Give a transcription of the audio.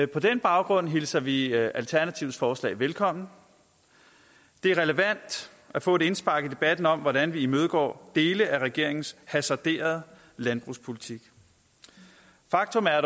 på den baggrund hilser vi alternativets forslag velkommen det er relevant at få et indspark i debatten om hvordan vi imødegår dele af regeringens hasarderede landbrugspolitik faktum er